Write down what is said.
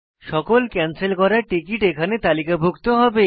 সকল ক্যানসেল করা টিকেট এখানে তালিকাভুক্ত হবে